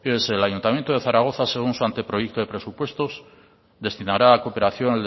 fíjese el ayuntamiento de zaragoza según su anteproyecto de presupuestos destinará a cooperación